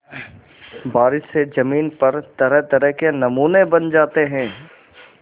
बारिश से ज़मीन पर तरहतरह के नमूने बन जाते हैं